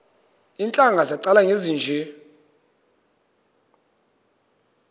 iintlanga zaqala ngezinje